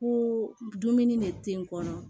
Ko dumuni de te n kɔnɔ